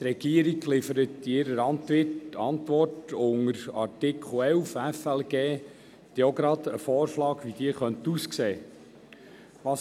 Die Regierung liefert in ihrer Antwort unter Artikel 11 des Gesetzes über die Steuerung von Finanzen du Leistungen (FLG) auch gleich einen Vorschlag, wie diese aussehen könnte.